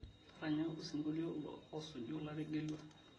ntaranya osinkolio osuju lategelua